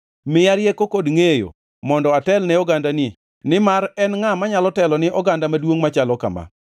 Miya rieko kod ngʼeyo mondo atel ne ogandani nimar en ngʼa manyalo telo ni oganda maduongʼ machalo kama?”